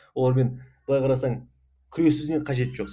олармен былай қарасаң күресудің де қажеті жоқ